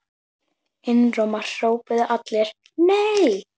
Einróma hrópuðu allir: NEI!